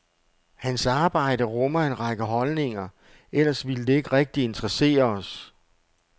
Hans arbejde rummer en række holdninger, ellers ville det ikke rigtig interessere os.